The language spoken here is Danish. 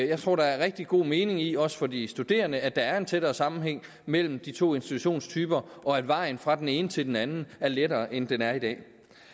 jeg tror der er rigtig god mening i også for de studerende at der er en tættere sammenhæng mellem de to institutionstyper og at vejen fra den ene til den anden er lettere end den er i dag